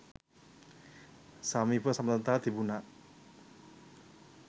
සමීප සබඳතා තිබුණා.